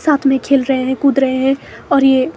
साथ में खेल रहे हैं कूद रहे हैं और ये--